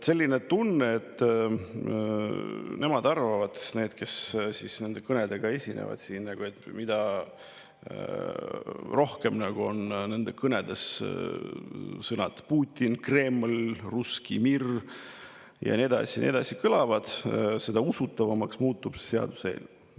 Selline tunne on, et nemad arvavad – need, kes nende kõnedega siin esinevad –, et mida rohkem nende kõnedes kõlavad sõnad Putin, Kreml, russki mir ja nii edasi ja nii edasi, seda usutavamaks muutub see seaduseelnõu.